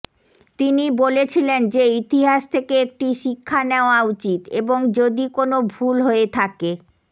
তিনি বলেছিলেন যে ইতিহাস থেকে একটি শিক্ষা নেওয়া উচিত এবং যদি কোন ভুল হয়ে থাকে